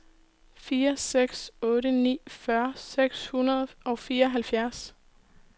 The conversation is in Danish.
fire seks otte ni fyrre seks hundrede og fireoghalvfjerds